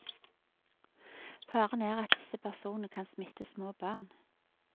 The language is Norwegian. Faren er at disse personene kan smitte små barn.